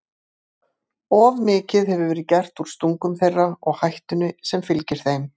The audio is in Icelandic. Of mikið hefur verið gert úr stungum þeirra og hættunni sem fylgir þeim.